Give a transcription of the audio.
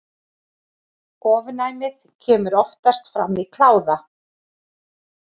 Ofnæmið kemur oftast fram í kláða.